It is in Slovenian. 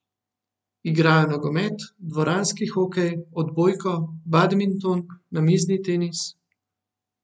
Igrajo nogomet, dvoranski hokej, odbojko, badminton, namizni tenis ...